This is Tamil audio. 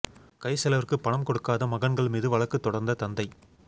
கை செலவிற்கு பணம் கொடுக்காத மகன்கள் மீது வழக்கு தொடர்ந்த தந்தை